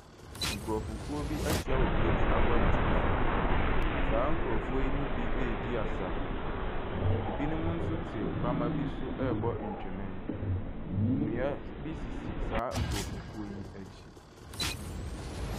Nkorɔfokuo bi ahyia wɔ kuro bi abɔntene so. Saa nkorɔfoɔ yi mu bi ɛɛdi asa. Ɛbinom nso te pama bi so ɛɛbo ntwenee. Nnua bi sisi saa nkorɔfokuo yi akyi.